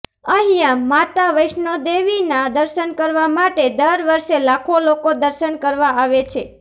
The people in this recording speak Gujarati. અહીંયા માતા વૈષ્ણોદેવીના દર્શન કરવા માટે દર વર્ષે લાખો લોકો દર્શન કરવા આવે છે